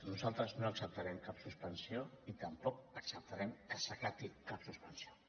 nosaltres no acceptarem cap suspensió i tampoc acceptarem que s’acati cap suspensió